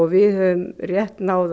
við höfum rétt náð